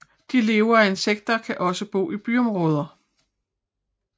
De lever af insekter og kan også bo i byområder